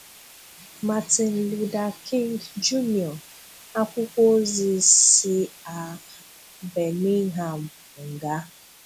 Martin Luther King Jr., Àkwụ́kwọ̀ Òzi si a Birmingham nga